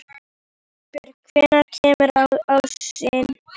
Einbjörg, hvenær kemur ásinn?